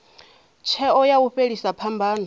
tsheo ya u fhelisa phambano